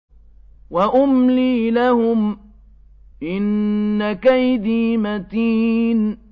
وَأُمْلِي لَهُمْ ۚ إِنَّ كَيْدِي مَتِينٌ